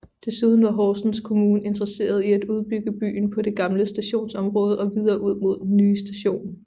Desuden var Horsens Kommune interesseret i at udbygge byen på det gamle stationsområde og videre ud mod den nye station